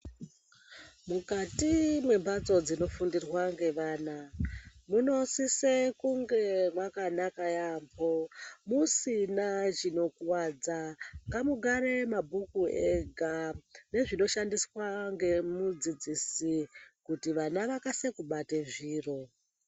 Mukati mwembatso dzinofundirwe ngevana. Munosise kunge mwakanaka yaambo. Musina chinokuwadza, ngamugare mabhuku ega nezvinoshandiswa ngemudzidzisi kuti vana vakasike kubate zviro.